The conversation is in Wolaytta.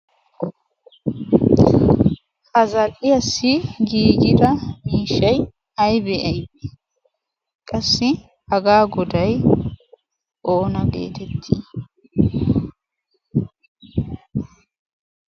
ha zal"iyaassi giigida miishshay aybe aybee? qassi hagaa goday oona geetettii?